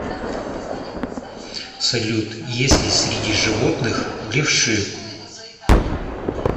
салют есть ли среди животных левши